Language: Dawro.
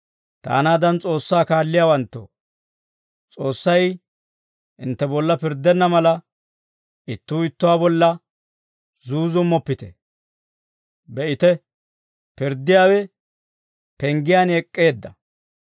Taanaadan S'oossaa kaalliyaawanttoo, S'oossay hintte bolla pirddenna mala, ittuu ittuwaa bolla zuuzummoppite. Be'ite, pirddiyaawe penggiyaan ek'k'eedda.